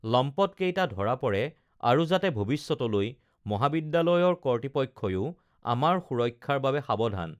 লম্পট কেইটা ধৰা পৰে আৰু যাতে ভৱিষ্যতলৈ মহাবিদ্যালয়ৰ কৰ্তৃপক্ষও আমাৰ সুৰক্ষাৰ বাবে সাৱধান